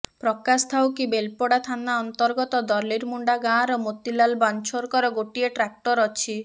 ପ୍ରକାଶଥାଉକି ବେଲପଡ଼ା ଥାନା ଅନ୍ତର୍ଗତ ଦର୍ଲିମୁଣ୍ଡା ଗାଁର ମୋତିଲାଲ୍ ବନଚ୍ଛୋରଙ୍କର ଗୋଟିଏ ଟ୍ରାକ୍ଟର ଅଛି